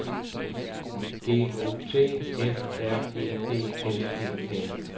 G O T F R E D S E N